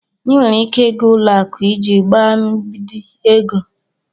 Ị nwere ike ịga ụlọakụ iji gbaa mbibi ego.